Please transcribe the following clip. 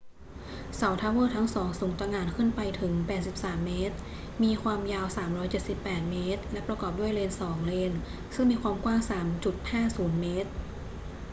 เสาทาวเวอร์ทั้งสองสูงตะหง่านขึ้นไปถึง 83 เมตร มีความยาว 378 เมตร และประกอบด้วยเลน 2 เลนซึ่งมีความกว้าง 3.50 เมตร